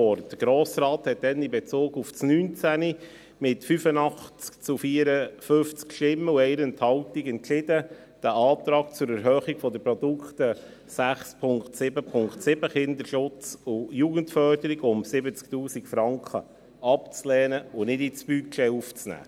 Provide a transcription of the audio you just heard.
Der Grosse Rat entschied damals in Bezug auf das Jahr 2019 mit 85 zu 54 Stimmen bei einer Enthaltung, diesen Antrag zur Erhöhung der Produkte 6.7.7, Kinderschutz und Jugendförderung, um 70 000 Franken abzulehnen und nicht ins Budget aufzunehmen.